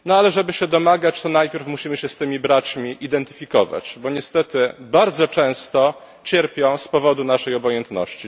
Żeby się tego domagać, najpierw musimy się z tymi braćmi identyfikować, bo niestety bardzo często cierpią z powodu naszej obojętności.